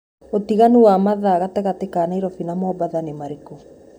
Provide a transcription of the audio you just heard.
utiganu wa mathaa gatagati ka naĩrobĩ na mombatha nĩ ũrĩkũ